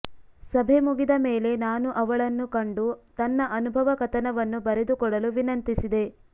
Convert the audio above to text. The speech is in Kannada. ಸಭೆ ಮುಗಿದ ಮೇಲೆ ನಾನು ಅವಳನ್ನು ಕಂಡು ತನ್ನ ಅನುಭವ ಕಥನವನ್ನು ಬರೆದುಕೊಡಲು ವಿನಂತಿಸಿದೆ